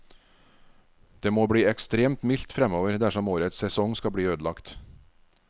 Det må bli ekstremt mildt fremover dersom årets sesong skal bli ødelagt.